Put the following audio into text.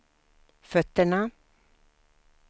fötterna